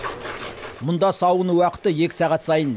мұнда сауын уақыты екі сағат сайын болады